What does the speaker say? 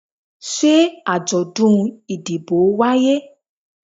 se ajodun idibo waye?